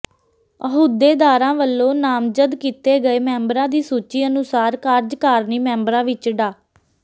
ਅਹੁਦੇਦਾਰਾਂ ਵੱਲੋਂ ਨਾਮਜ਼ਦ ਕੀਤੇ ਗਏ ਮੈਂਬਰਾਂ ਦੀ ਸੂਚੀ ਅਨੁਸਾਰ ਕਾਰਜਕਾਰਨੀ ਮੈਂਬਰਾਂ ਵਿਚ ਡਾ